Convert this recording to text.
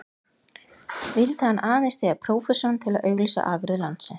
Vildi hann aðeins styðja prófessorinn til að auglýsa afurðir landsins?